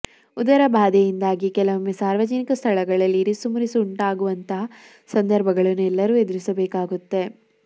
ಉದರ ಬಾಧೆಯಿಂದಾಗಿ ಕೆಲವೊಮ್ಮೆ ಸಾರ್ವಜನಿಕ ಸ್ಥಳಗಳಲ್ಲಿ ಇರಿಸು ಮುರಿಸು ಉಂಟಾಗುವಂತಾ ಸಂದರ್ಭಗಳನ್ನ ಎಲ್ಲರೂ ಎದುರಿಸಬೇಕಾಗುತ್ತೆ